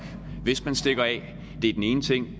hvis man stikker af det er den ene ting